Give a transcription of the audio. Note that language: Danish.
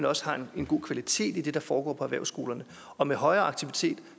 også er en god kvalitet i det der foregår på erhvervsskolerne og med højere aktivitet